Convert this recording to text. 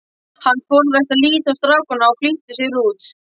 Hann forðaðist að líta á strákana og flýtti sér út.